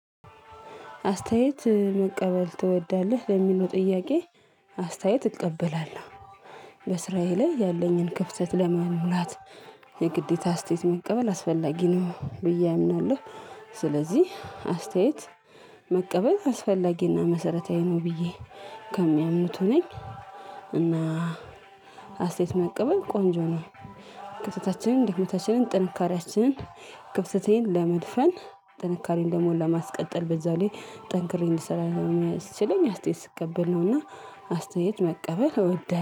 አስተያየት መቀበል ትወዳለህ ለሚሉ ጥያቄ? አስተያየት እቀበላለሁ በስራዬ ላይ ያለኝን ክፍተት ለመሙላት የግዴታ አስተያየት መቀበል አስፈላጊ ነው ብዬ አምናለሁ። ስለዚህ አስተያየት መቀበል አስፈላጊና መሰረታዊ ነው ብዬ ከሚያምኑት ነኝ። እና አስተያየት መቀበል ቆንጆ ነው። ክፍተታችንን ድክመታችንን ጥንካሬያችንን ክፍተቴን ለመድፈን ጥንካሬን ደግሞ ለማስቀጠል በዛው ላይ ጠንክሬ እንድሰራ የሚያስችለኝ አስተያየት ስቀበል ነውና አስተያየት መቀበል እወዳለሁ